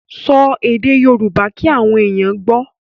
Sọ èdè Yorùbá kí àwọn èèyàn gbọ́.